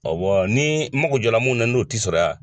Ɔwɔ ni mago jɔla mun na n'o tɛ sɔrɔ yan